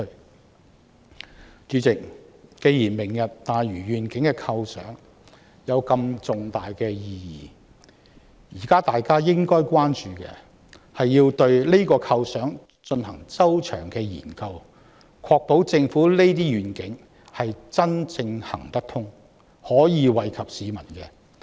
代理主席，既然"明日大嶼願景"有這麼重大的意義，現在大家應該關注的是對這個構想進行周詳的研究，確保政府這些願景真正可行，並惠及市民。